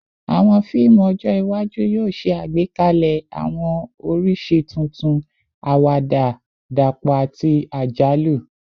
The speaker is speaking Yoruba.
Awọn fiimu ọjọ iwaju yoo ṣe agbekalẹ awọn oriṣi tuntun, awada dapọ ati ajalu